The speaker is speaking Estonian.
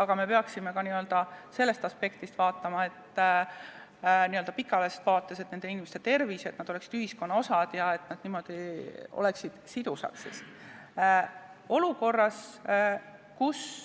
aga me peaksime vaatama ka sellest aspektist, milline on pikaajalises vaates nende inimeste tervis, et nad oleksid ühiskonna osa ja sidusad.